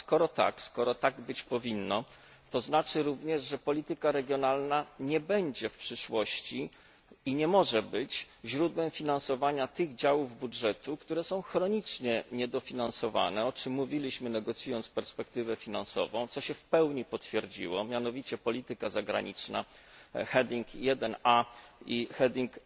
A skoro tak, skoro tak być powinno, to znaczy również, że polityka regionalna nie będzie w przyszłości i nie może być źródłem finansowania tych działów budżetu, które są chronicznie niedofinansowane o czym mówiliśmy negocjując perspektywę finansową, co się w pełni potwierdziło mianowicie polityka zagraniczna heading 1a i heading